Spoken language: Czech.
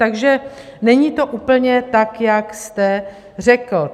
Takže není to úplně tak, jak jste řekl.